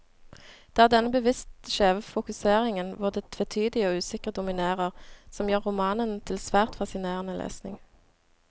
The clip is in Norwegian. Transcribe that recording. Det er denne bevisst skjeve fokuseringen, hvor det tvetydige og usikre dominerer, som gjør romanen til svært fascinerende lesning.